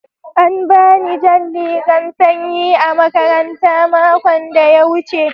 An bani jan rigan sanƴi a makaranta maƙon da ya wuce.